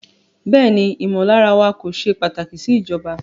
Bẹẹni, imọlara wa ko ṣe pataki si ijọba